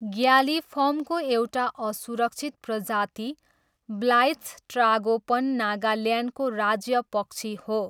ग्यालिफर्मको एउटा असुरक्षित प्रजाति, ब्लाइत्स ट्रागोपन नागाल्यान्डको राज्य पक्षी हो।